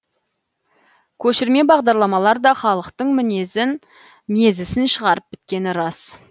көшірме бағдарламалар да халықтың мезісін шығарып біткені рас